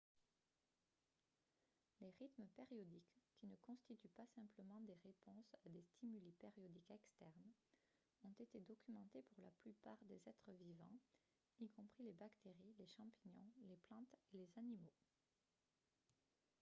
les rythmes périodiques qui ne constituent pas simplement des réponses à des stimuli périodiques externes ont été documentés pour la plupart des êtres vivants y compris les bactéries les champignons les plantes et les animaux